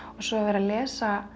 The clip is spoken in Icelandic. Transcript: svo að vera að lesa